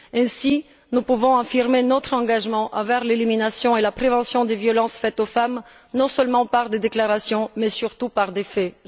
Ainsi, nous pouvons affirmer notre engagement envers l'élimination et la prévention des violences faites aux femmes, non seulement par des déclarations, mais surtout par des faits.